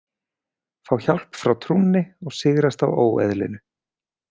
Fá hjálp frá trúnni og sigrast á óeðlinu.